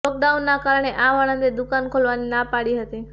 લોકડાઉનના કારણે આ વાળંદે દુકાન ખોલવાની ના પાડી હતી